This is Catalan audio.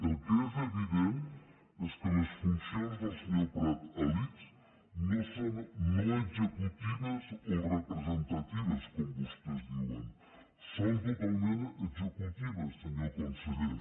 el que és evident és que les funcions del senyor prat a l’ics no són no executives o representatives com vostès diuen són totalment executives senyor conseller